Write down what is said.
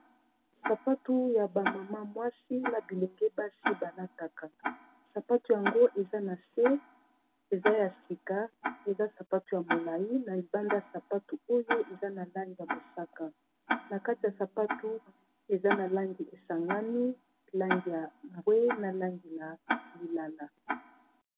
Sapatu ya ba mama mwasi na bilenge basi balataka sapatu yango eza na se eza ya sika eza sapatu ya molai na libanda ya sapatu oyo eza na langi ya mosaka na kati ya sapatu eza na langi esangami langi ya mbwe na langi ya lilala